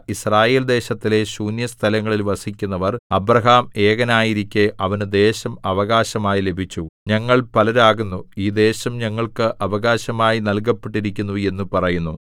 യിസ്രായേൽദേശത്തിലെ ശൂന്യസ്ഥലങ്ങളിൽ വസിക്കുന്നവർ അബ്രാഹാം ഏകനായിരിക്കെ അവന് ദേശം അവകാശമായി ലഭിച്ചു ഞങ്ങൾ പലരാകുന്നു ഈ ദേശം ഞങ്ങൾക്ക് അവകാശമായി നൽകപ്പെട്ടിരിക്കുന്നു എന്നു പറയുന്നു